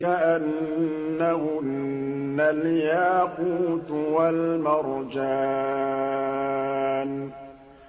كَأَنَّهُنَّ الْيَاقُوتُ وَالْمَرْجَانُ